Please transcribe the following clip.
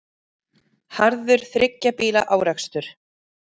Harður þriggja bíla árekstur